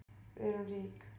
Við erum rík.